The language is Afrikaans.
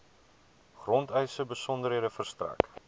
grondeise besonderhede verstrek